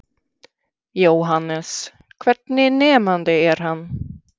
Jóhannes: Hvernig nemandi er hann?